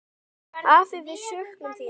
Afi, við söknum þín.